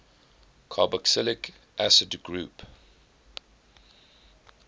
carboxylic acid group